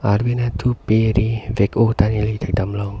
arvi nat thu peri vek oh ta neli thek dam long.